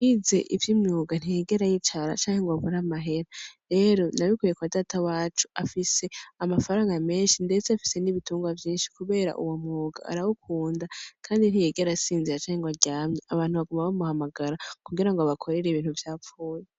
Wize ivyo imwuga ntiyigera yicara canke ngo bagora amahera rero nabikwye kwa data wacu afise amafaranga menshi, ndetse afise n'ibitungwa vyinshi, kubera uwo mwuga arawukunda, kandi ntiyigera asinzira canke ngo aryamye abantu baguma bamuhamagara kugira ngo bakorere ibintu vyapfuye.